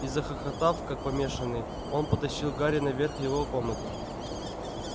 и захохотав как помешанный он потащил гарри наверх в его комнату